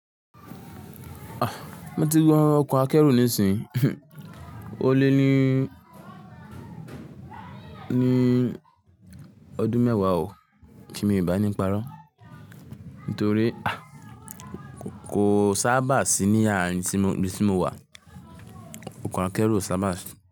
Mo ti wo ọkọ̀ akẹ́rù ní ìsìyin, ó lé ní ọdún mẹ́wàá ò kí mi ò bá níparọ́, nítorí kò sábà sí arin ibi tí mo wà. Ọkọ̀ akẹ́rù ò sábà sí.